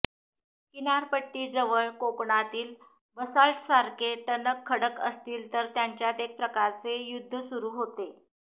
किनारपट्टीजवळ कोकणातील बसाल्टसारखे टणक खडक असतील तर त्यांच्यात एक प्रकारचे युद्ध सुरू होते